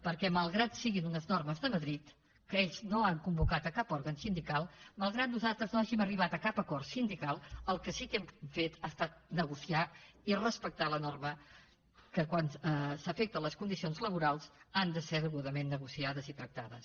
perquè malgrat que siguin unes normes de madrid que ells no han convocat cap òrgan sindical malgrat que nosaltres no hàgim arribat a cap acord sindical el que sí que hem fet ha estat negociar i respectar la norma que quan s’afecten les condicions laborals han de ser degudament negociades i tractades